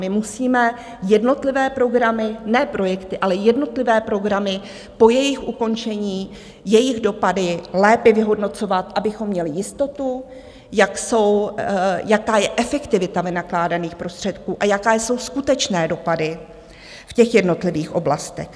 My musíme jednotlivé programy, ne projekty, ale jednotlivé programy po jejich ukončení, jejich dopady lépe vyhodnocovat, abychom měli jistotu, jaká je efektivita vynakládaných prostředků a jaké jsou skutečné dopady v těch jednotlivých oblastech.